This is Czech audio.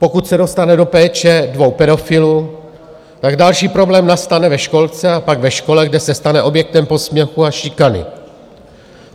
Pokud se dostane do péče dvou pedofilů, tak další problém nastane ve školce a pak ve škole, kde se stane objektem posměchu a šikany.